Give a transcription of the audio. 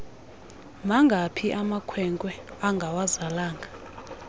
mangaphi amakwenkwe angawazalanga